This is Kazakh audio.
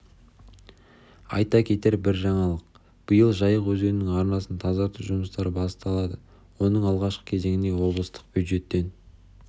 айта кетер бір жаңалық биыл жайық өзенінің арнасын тазарту жұмыстары басталады оның алғашқы кезеңіне облыстық бюджеттен